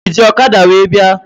Ị ji ọkada wee bịa?